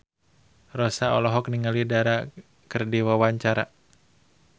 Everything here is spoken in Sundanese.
Rossa olohok ningali Dara keur diwawancara